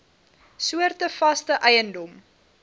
soorte vaste eiendom